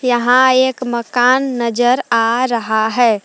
यहां एक मकान नजर आ रहा है।